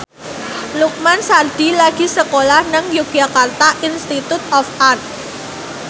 Lukman Sardi lagi sekolah nang Yogyakarta Institute of Art